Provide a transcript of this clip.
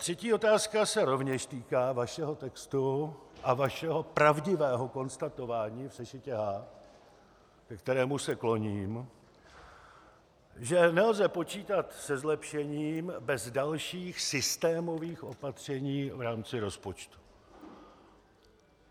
Třetí otázka se rovněž týká vašeho textu a vašeho pravdivého konstatování v sešitě H, ke kterému se kloním, že nelze počítat se zlepšením bez dalších systémových opatření v rámci rozpočtu.